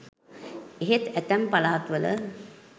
එහෙත් ඇතැම් පළාත් වල